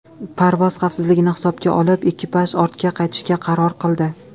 Parvoz xavfsizligini hisobga olib, ekipaj ortga qaytishga qaror qildi.